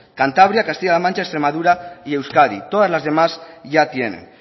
cantabria castilla la mancha extremadura y euskadi todas las demás ya tienen